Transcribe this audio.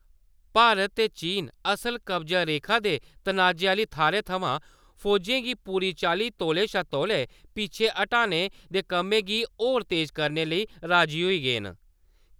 भारत ते चीन असल कब्ज़ा रेखा दे तनाजे आह्नी थाह्‌रें थमां फौजें गी पूरी चाल्ली तौले शा तौले पिच्छे हटाने दे कम्मै गी होर तेज करने लेई राजी होई गे न ।